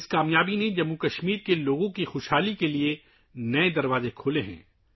اس کامیابی سے جموں و کشمیر کے لوگوں کی خوشحالی کے نئے دروازے کھل گئے ہیں